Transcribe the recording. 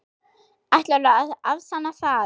Ætlarðu að afsanna það?